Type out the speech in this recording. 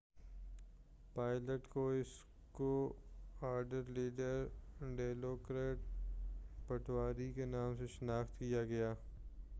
pilot کو squadron leader ڈیلوکرٹ پٹاوی کے نام سے شناخت کیا گیا